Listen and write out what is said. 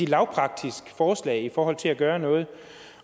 lavpraktisk forslag i forhold til at gøre noget